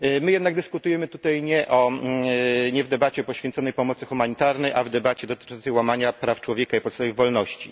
My jednak dyskutujemy tutaj nie w debacie poświęconej pomocy humanitarnej, a w debacie dotyczącej łamania praw człowieka i podstawowych wolności.